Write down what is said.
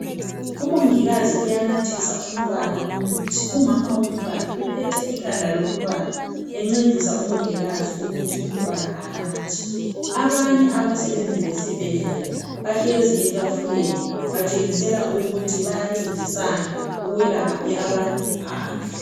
Umongikazi uyanathisa umntwana umuthi, umama womntwana uphethe ikhanda lomntwana encedisa umongikazi ukuthi umntwana anathe, abanye abasebenzi besibhedkela bahlezi etafuleni batshengisela ukuthi bayancedisana ukwelapha abantu phandle.